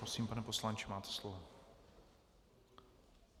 Prosím, pane poslanče, máte slovo.